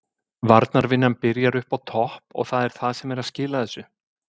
Varnarvinnan byrjar uppi á topp og það er það sem er að skila þessu.